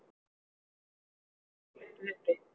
Eitt þeirra var hlaupið uppi